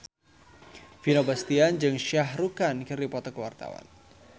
Vino Bastian jeung Shah Rukh Khan keur dipoto ku wartawan